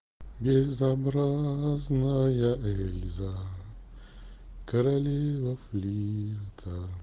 безобразная эльза королева флирта